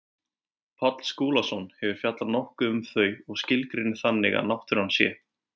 Páll Skúlason hefur fjallað nokkuð um þau og skilgreinir þannig að náttúran sé.